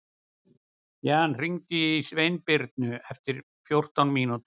Jan, hringdu í Sveinbirnu eftir fjórtán mínútur.